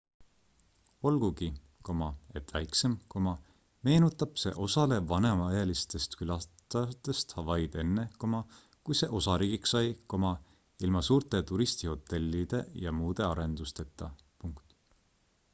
olgugi et väiksem meenutab see osale vanemaealistest külastajatest hawaiid enne kui see osariigiks sai ilma suurte turistihotellide ja muude arendusteta